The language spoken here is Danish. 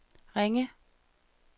Ringe